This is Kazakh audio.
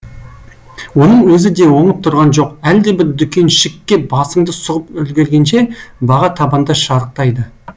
оның өзі де оңып тұрған жоқ әлдебір дүкеншікке басыңды сұғып үлгергенше баға табанда шарықтайды